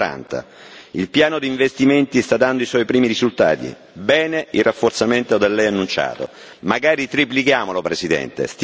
40. Il piano di investimenti sta dando i suoi primi risultati bene il rafforzamento da lei annunciato, magari triplichiamolo, Presidente!